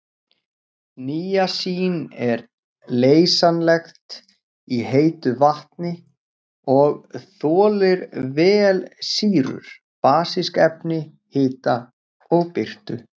Níasín er leysanlegt í heitu vatni og þolir vel sýrur, basísk efni, hita og birtu.